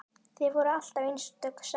Þið voruð alltaf einstök saman.